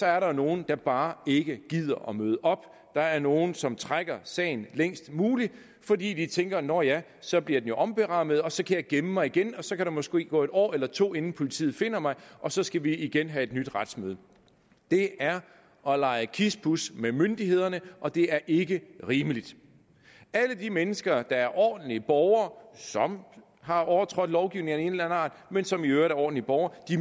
er der nogle der bare ikke gider at møde op der er nogle som trækker sagen længst muligt fordi de tænker nå ja så bliver den jo omberammet og så kan jeg gemme mig igen og så kan der måske gå en år eller to år inden politiet finder mig og så skal vi igen have et nyt retsmøde det er at lege kispus med myndighederne og det er ikke rimeligt alle de mennesker der er ordentlige borgere som har overtrådt lovgivningen af art men som i øvrigt er ordentlige borgere